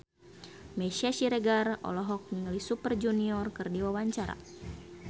Meisya Siregar olohok ningali Super Junior keur diwawancara